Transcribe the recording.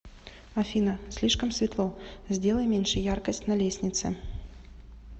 афина слишком светло сделай меньше яркость на лестнице